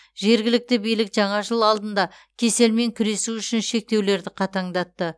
жергілікті билік жаңа жыл алдында кеселмен күресу үшін шектеулерді қатаңдатты